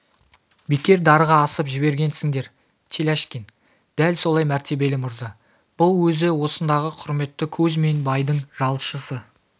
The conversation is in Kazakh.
бекер дарға асып жібергенсіңдер теляшкин дәл солай мәртебелі мырза бұл өзі осындағы құрметті кузьмин байдың жалшысы